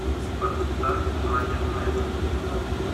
поставь свадебная хлеб